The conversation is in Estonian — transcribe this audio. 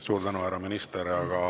Suur tänu, härra minister!